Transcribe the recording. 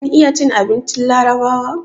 Kin iya cin abincin larabawa?